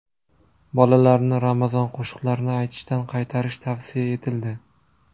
Bolalarni ramazon qo‘shiqlarini aytishdan qaytarish tavsiya etildi .